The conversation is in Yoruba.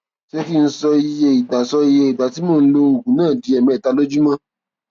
ṣé kí n sọ iye ìgbà sọ iye ìgbà tí mò ń lo oògùn náà di ẹẹmẹta lójúmọ